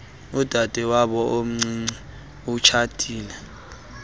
udadewabo omncinci etshatile